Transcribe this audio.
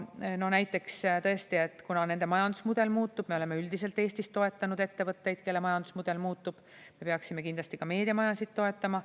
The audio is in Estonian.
Näiteks tõesti, kuna nende majandusmudel muutub – me oleme üldiselt Eestis toetanud ettevõtteid, kelle majandusmudel muutub –, siis me peaksime kindlasti ka meediamajasid toetama.